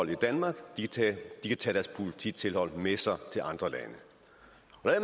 i danmark kan tage deres polititilhold med sig til andre lande